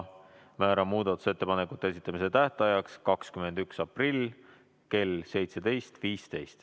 Määran muudatusettepanekute esitamise tähtajaks 21. aprilli kell 17.15.